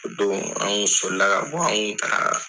O don an kun soli la ka bɔ an kun taara